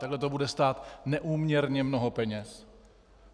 Takhle to bude stát neúměrně mnoho peněz.